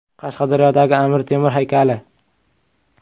Qashqadaryodagi Amir Temur haykali.